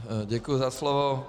Děkuji za slovo.